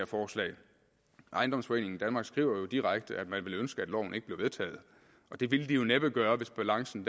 forslag ejendomsforeningen danmark skriver jo direkte at man ville ønske at loven ikke bliver vedtaget og det ville de jo næppe gøre hvis balancen